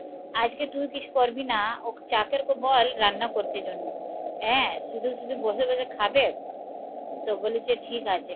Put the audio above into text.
আজকে তুই কিছু করবি না, ও চাকরকে বল রান্না করতে জন্য হ্যাঁ, শুধু শুধু বসে বসে খাবে? তো বলেছে ঠিক আছে,